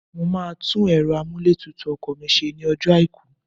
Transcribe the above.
Mo máa tún ẹ̀rọ amúlétutù ọkọ̀ mi ṣe ní ọjọ́ àìkú